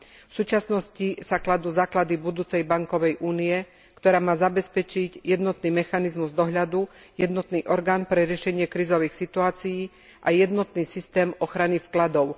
V súčasnosti sa kladú základy budúcej bankovej únie, ktorá má zabezpečiť jednotný mechanizmus dohľadu, jednotný orgán pre riešenie krízových situácií a jednotný systém ochrany vkladov.